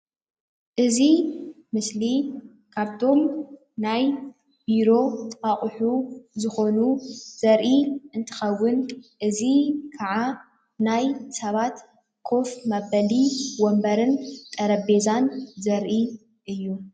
እዚ ምስሊ ካብቶም ናይ ቢሮ አቁሑ ዝኮኑ ዘሪኢ እንትከውን እዚ ከዓ ናይ ስባት ኮፍ መበሊ ወንበርን ጠረቤዛን ዘሪኢ እዩ፡፡